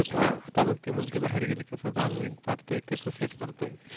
ते बघ आता ती मुलगी बाहेर गेली कस भांग बिंग पाडतोयें केस Set करतोय